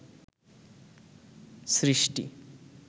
সৃষ্টি